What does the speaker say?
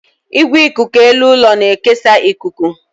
Igwe ikuku elu ụlọ na-ekesa ikuku.